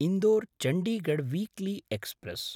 Indore-Chandigarh weekly express